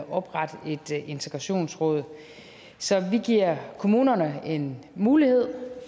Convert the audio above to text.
oprette et integrationsråd så vi giver kommunerne en mulighed